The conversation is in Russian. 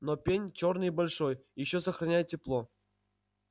но пень чёрный и большой ещё сохраняет тепло